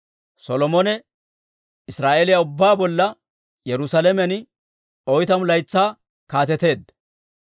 Solomone Israa'eeliyaa ubbaa bolla Yerusaalamen oytamu laytsaa kaateteedda.